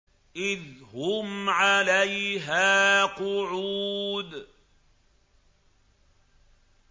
إِذْ هُمْ عَلَيْهَا قُعُودٌ